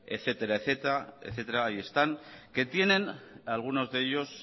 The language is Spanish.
etcétera que tienen algunos de ellos